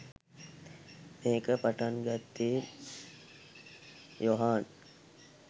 මේක පටන් ගත්තේ යොහාන්